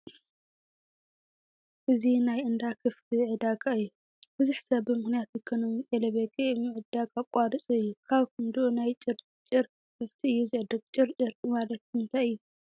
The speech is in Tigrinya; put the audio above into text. እዚ ናይ እንዳ ከፍቲ ዕዳጋ እዩ፡፡ ብዙሕ ሰብ ብምኽንያት ኢኮነሚ ጤለ በጊዕ ምድዳግ ኣቋሪፁ እዩ፡፡ ኣብ ከንድኡ ናይ ጭጭር ከፍቲ እዩ ዝዕድግ፡፡ ጭርጭር ማለት እንታይ እዩ?